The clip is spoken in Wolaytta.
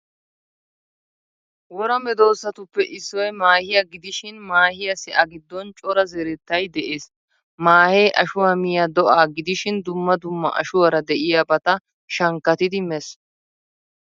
Wora medosattuppe issoy maahiya gidishin maahiyasi a giddon cora zerettay de'ees. Maahe ashuwaa miyaa do'a gidishin dumma dumma ashuwaara de'iyabata shankkattidi mees.